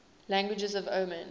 languages of oman